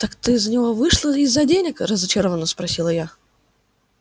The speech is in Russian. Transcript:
так ты за него вышла из-за денег разочаровано спросила я